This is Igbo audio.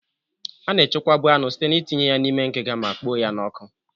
A na-echekwabu anụ site n'itinye ya n'ime ngiga ma kpoo ya n'ọkụ.